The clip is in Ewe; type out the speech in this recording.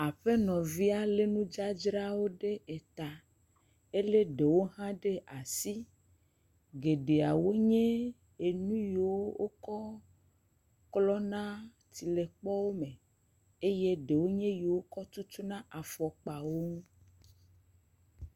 Aƒenɔvia le nudzadzra ɖe eta. Ele ɖe hãa ɖe asi, geɖea wo nye enu yiwo woklɔ na tsilekpɔwo me eye ɖewo kɔ tutu na afɔkpa wo ŋu.